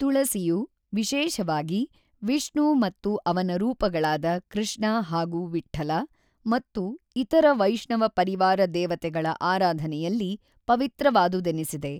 ತುಳಸಿಯು, ವಿಶೇಷವಾಗಿ, ವಿಷ್ಣು ಮತ್ತು ಅವನ ರೂಪಗಳಾದ ಕೃಷ್ಣ ಹಾಗೂ ವಿಠ್ಠಲ ಮತ್ತು ಇತರ ವೈಷ್ಣವ ಪರಿವಾರ ದೇವತೆಗಳ ಆರಾಧನೆಯಲ್ಲಿ ಪವಿತ್ರವಾದುದೆನಿಸಿದೆ.